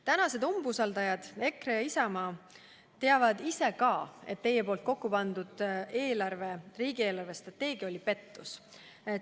Tänased umbusaldajad EKRE ja Isamaa teavad ka ise, et nende endi kokku pandud riigi eelarvestrateegia oli pettus.